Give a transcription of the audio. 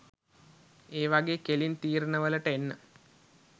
ඒ වගේ කෙලින් තීරණ වලට එන්න